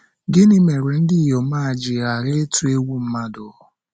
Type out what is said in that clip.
Gịnị mere ndị inyom a ji ghara ịtụ egwu mmadụ?